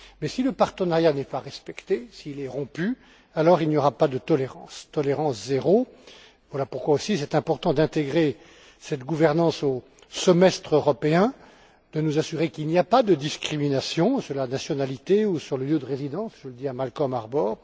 Mais si le partenariat n'est pas respecté, s'il est rompu, alors il n'y aura pas de tolérance, ce sera tolérance zéro. Voilà pourquoi aussi il est important d'intégrer cette gouvernance au semestre européen, et de nous assurer qu'il n'y a pas de discrimination sur la nationalité ou sur le lieu de résidence je le dis à Malcolm Harbour.